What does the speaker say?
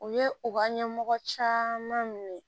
U ye u ka ɲɛmɔgɔ caman minɛ